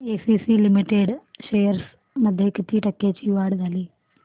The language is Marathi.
एसीसी लिमिटेड शेअर्स मध्ये किती टक्क्यांची वाढ झाली